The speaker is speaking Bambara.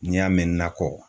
N'i y'a mɛn nakɔ